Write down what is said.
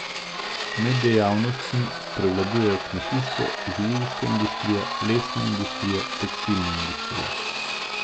Med dejavnostmi prevladujejo kmetijstvo, živilska industrija, lesna industrija, tekstilna industrija.